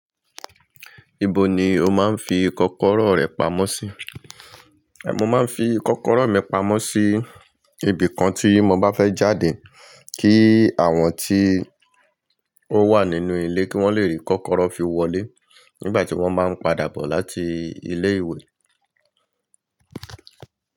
Ibo ni o máa ń fi kọ́kọ́rọ́ rẹ pamọ́ sí? Mo máa ń fi kọ́kọ́rọ́ mi pamọ́ sí ibìkan tí mo bá fẹ́ jáde kí àwọn tí ó wà nínú ilé kí wọ́n le rí kọ́kọ́rọ́ fi wọlé nígbà tí wọ́n bá ń padà bọ̀ láti ilé ìwé.